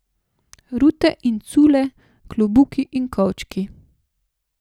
Rute in cule, klobuki in kovčki.